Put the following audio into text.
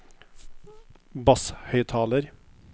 basshøyttaler